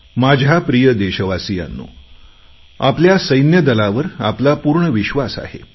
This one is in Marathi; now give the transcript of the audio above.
माझ्या प्रिय देशवासियांनो आपल्या सैन्यदलावर आपला पूर्ण विश्वास आहे